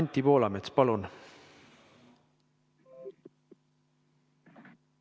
Anti Poolamets, palun!